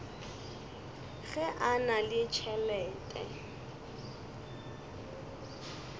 ge a na le tšhelete